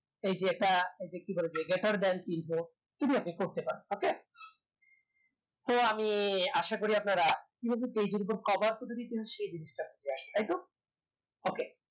এই যে এটা কি বলে যে info এগুলো আপনি করতে পারেন okay তো আমি আশা করি আপনারা কি ভাবে এর উপর তাই তো